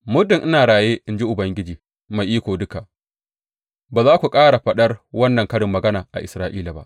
Muddin ina raye, in ji Ubangiji Mai Iko Duka, ba za ku ƙara faɗar wannan karin magana a Isra’ila ba.